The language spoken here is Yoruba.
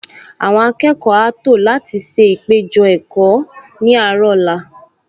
Àwọn akẹ́kọ̀ọ á tò láti ṣe ìpéjọ-ẹ̀kọ́ ní àárọ̀ ọ̀la